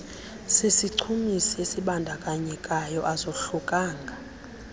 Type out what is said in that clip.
sisichumisi esibandakanyekayo azohlukanga